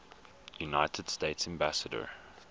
united states ambassador